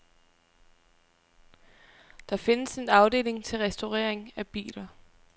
Der findes en afdeling til restaurering af biler.